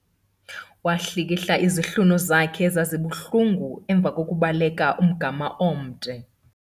Wahlikihla izihlunu zakhe ezazibuhlungu emva kokubaleka umgama omde.